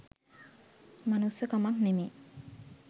මනුස්සකමක් නෙමේ.